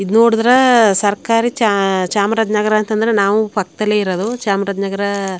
ಇದು ನೋಡಿದರೆ ಸರಕಾರಿ ಚ ಚಾಮರಾಜನಗರ ಅಂತಂದ್ರೆ ನಾವು ಪಕ್ಕದಲ್ಲೇ ಇರೋದು ಚಾಮರಾಜನಗರ --